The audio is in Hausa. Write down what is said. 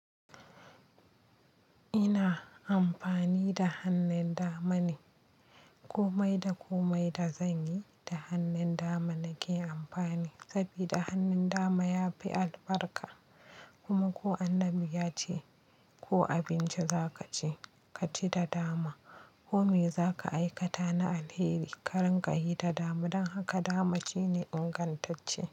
Ina amfani da hannun dama ne, komai da komai da zanyi da hannun dama nake amfani saboda hannun dama yafi albarka. Kuma ko Annabi ya ce "ko abinci za kaci, kaci da dama, ko me zaka aikata na alheri karin ka yi ta dama" don haka dama shine ingantacce.